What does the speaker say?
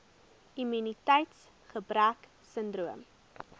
immuniteits gebrek sindroom